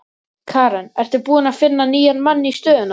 Karen: Ertu búinn að finna nýjan mann í stöðuna?